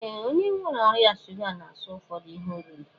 Ee, onye nwere ọrịa shuga na-aso ụfọdụ ihe oriri